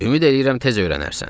Ümid eləyirəm tez öyrənərsən.